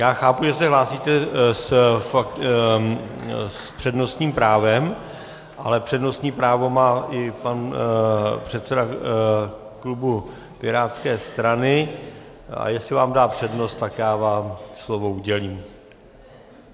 Já chápu, že se hlásíte s přednostním právem, ale přednostní právo má i pan předseda klubu pirátské strany, a jestli vám dá přednost, tak já vám slovo udělím.